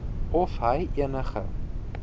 of hy enige